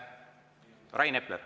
Rain Epler.